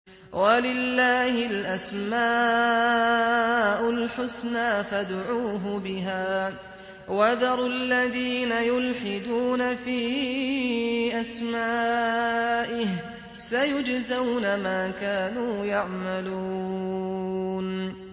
وَلِلَّهِ الْأَسْمَاءُ الْحُسْنَىٰ فَادْعُوهُ بِهَا ۖ وَذَرُوا الَّذِينَ يُلْحِدُونَ فِي أَسْمَائِهِ ۚ سَيُجْزَوْنَ مَا كَانُوا يَعْمَلُونَ